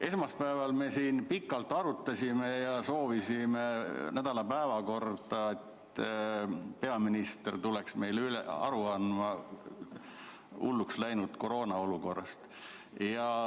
Esmaspäeval me siin pikalt arutasime ja soovisime nädala päevakorda punkti, et peaminister tuleks meile aru andma hulluks läinud koroonaolukorrast.